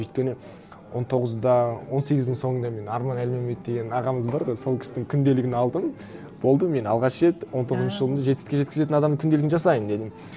өйткені он тоғызда он сегіздің соңында мен арман әлменбет деген ағамыз бар ғой сол кісінің күнделігін алдым болды мен алғаш рет он тоғызыншы жылдың жетістікке жеткізетін адамның күнделігін жасаймын дедім